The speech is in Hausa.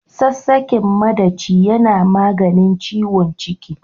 Sassaƙen maɗaci yana maganin ciwon ciki.